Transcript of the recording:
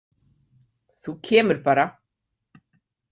Þú kemur bara!